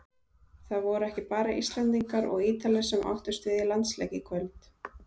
Það voru ekki bara Íslendingar og Ítalir sem áttust við í landsleik í kvöld.